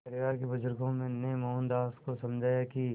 परिवार के बुज़ुर्गों ने मोहनदास को समझाया कि